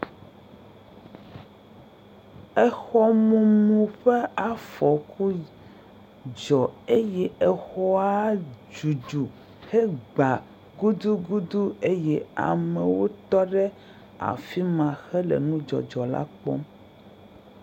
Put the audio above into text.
Exɔmumu ƒe afɔku dzɔ eye exɔa dudu hegba gudugudu eye amewo tɔ ɖe afi ma hele nudzɔdzɔ la kpɔm.